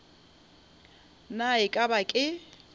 na e ka ba ke